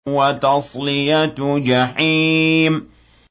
وَتَصْلِيَةُ جَحِيمٍ